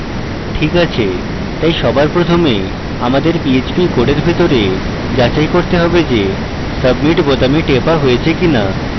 check আছে তাই সবার প্রথমে আমাদের php code ভিতরে যাচাই করতে হবে যে submit বোতাম টেপা হয়েছে কিনা